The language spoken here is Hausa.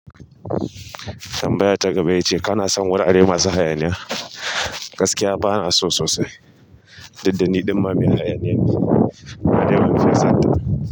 Tambaya ta gaba ya ce kana son wurare masu hayaniya? Gaskiya ba na so sosai, diddani ɗinnan ma mai hayaniya ne, amma dai ban fiye santa ba.